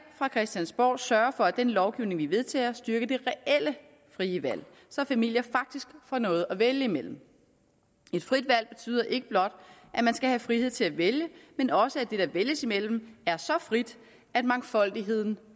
fra christiansborg sørge for at den lovgivning vi vedtager styrker det reelle frie valg så familier faktisk får noget at vælge imellem et frit valg betyder ikke blot at man skal have frihed til at vælge men også at det der vælges imellem er så frit at mangfoldigheden